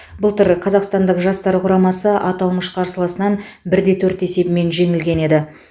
былтыр қазақстандық жастар құрамасы аталмыш қарсыласынан бірде төрт есебімен жеңілген еді